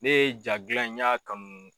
Ne ye ja gilan in i ya kanu